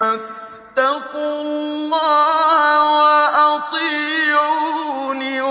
فَاتَّقُوا اللَّهَ وَأَطِيعُونِ